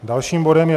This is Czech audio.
Dalším bodem je